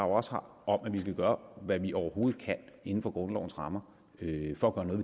også har om at vi vil gøre hvad vi overhovedet kan inden for grundlovens rammer for